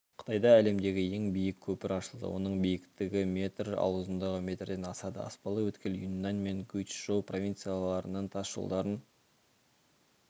қытайда әлемдегі ең биік көпір ашылды оның биіктігі метр ал ұзындығы метрден асады аспалы өткел юньнань мен гуйчжоу провинцияларының тас жолдарын